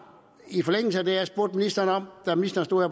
i forlængelse af det jeg spurgte ministeren om da ministeren stod